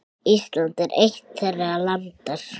Ísland er eitt þeirra landa.